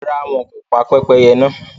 Ràrà, wọn kò ní pa pẹpẹyẹ̀ náà